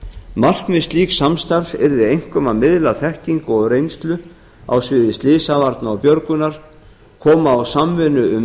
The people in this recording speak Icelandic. markmið slíks samstarfs yrði einkum að miðla þekkingu og reynslu á sviði slysavarna og björgunar koma á samvinnu um